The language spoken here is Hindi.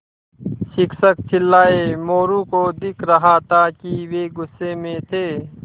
शिक्षक चिल्लाये मोरू को दिख रहा था कि वे गुस्से में थे